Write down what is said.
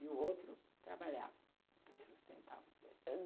E o outro trabalhava e sustentava os dois.